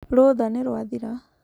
Rũtha nĩrwathiraa.